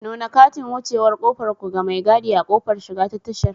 Nuna katin wucewar ƙofar ku ga mai gadi a ƙofar shiga ta tashar.